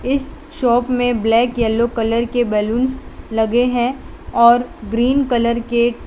इस शॉप में black yellow colour के बलूंस लगे हैं और ग्रीन कलर के--